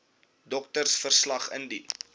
doktersverslag wcl indien